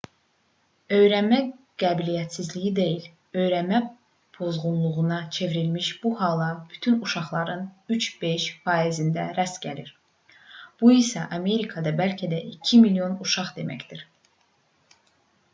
öyrənmə qabiliyyətsizliyi deyil öyrənmə pozğunluğuna çevrilmiş bu hala bütün uşaqların 3-5 faizində rast gəlinir bu isə amerikada bəlkə də 2 milyon uşaq deməkdir